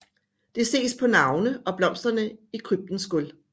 Det ses på navne og blomsterne i kryptens gulv